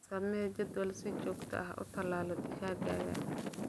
Samee jadwal aad si joogto ah u tallaalto digaaggaaga.